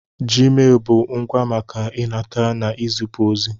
Jiimelụ bụ ngwá maka ịnata n'izipu ozi.